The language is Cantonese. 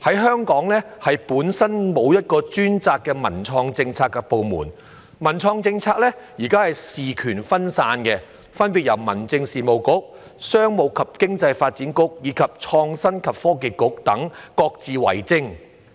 香港本身沒有一個專責文創政策的部門，目前的文創政策事權分散，民政事務局、商務及經濟發展局和創新及科技局等各自為政。